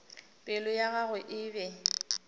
pelo ya gagwe e be